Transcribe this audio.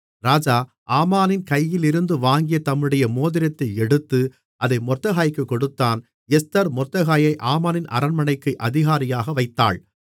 ராஜா ஆமானின் கையிலிருந்து வாங்கிய தம்முடைய மோதிரத்தை எடுத்து அதை மொர்தெகாய்க்குக் கொடுத்தான் எஸ்தர் மொர்தெகாயை ஆமானின் அரண்மனைக்கு அதிகாரியாக வைத்தாள்